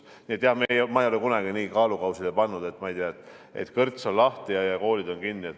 Nii et jah, ma ei ole kunagi nii kaalukausile pannud, et, ma ei tea, kõrts on lahti ja koolid on kinni.